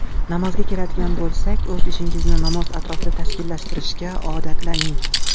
Namozga keladigan bo‘lsak, o‘z ishingizni namoz atrofida tashkillashtirishga odatlaning.